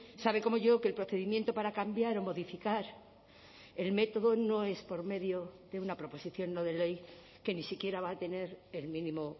sabe como yo que el procedimiento para cambiar o modificar el método no es por medio de una proposición no de ley que ni siquiera va a tener el mínimo